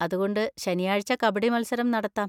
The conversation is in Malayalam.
അതുകൊണ്ട് ശനിയാഴ്ച കബഡി മത്സരം നടത്താം.